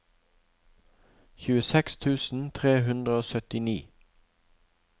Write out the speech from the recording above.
tjueseks tusen tre hundre og syttini